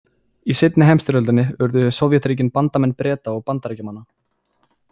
Í seinni heimsstyrjöldinni urðu Sovétríkin bandamenn Breta og Bandaríkjamanna.